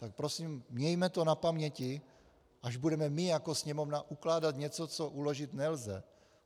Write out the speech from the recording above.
Tak prosím, mějme to na paměti, až budeme my jako Sněmovna ukládat něco, co uložit nelze.